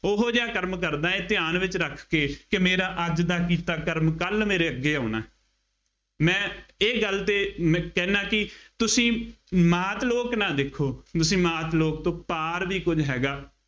ਉਹੋ ਜਿਹਾ ਕਰਮ ਕਰਦਾ, ਧਿਆਨ ਵਿੱਚ ਰੱਖ ਕੇ ਕਿ ਮੇਰਾ ਅੱਜ ਦਾ ਕੀਤਾ ਕਰਮ ਕੱਲ੍ਹ ਮੇਰੇ ਅੱਗੇ ਆਉਣਾ, ਮੈਂ ਇਹ ਗੱਲ ਤੇ ਮੈਂ ਕਹਿੰਦਾ ਕਿ ਤੁਸੀਂ ਮਾਤ ਲੋਕ ਨਾ ਦੇਖੋ, ਤੁਸੀਂ ਮਾਤ ਲੋਕ ਤੋਂ ਪਾਰ ਵੀ ਕੁੱਝ ਹੈਗਾ।